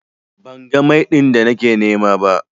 Ban ga Mai din da nake nima ba.